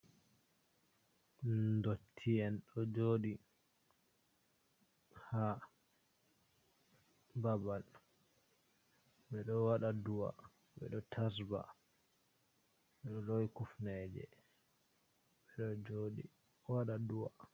Dotti'en ɗo joɗi ha babal ɓe ɗo waɗa do’a, ɓe ɗo tasba, ɓe ɗo lowi kufneje, ɓe ɗo waɗa do'a.